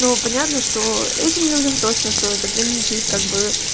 ну понятно что этим людям точно стоит ограничить как бы